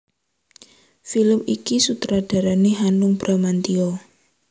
Film iki sutradarané Hanung Bramantyo